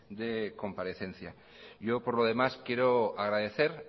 de comparecencia yo por lo demás quiero agradecer